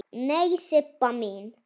Nei, Sibba mín.